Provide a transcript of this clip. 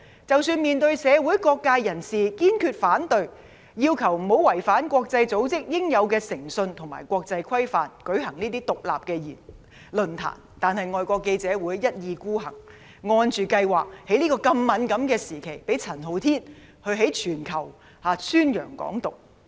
即使面對社會各界人士堅決反對，要求不要違反國際組織應有的誠信及國際規範，舉行"港獨"論壇，但外國記者會一意孤行，按計劃在這個敏感時期，讓陳浩天向全球宣揚"港獨"。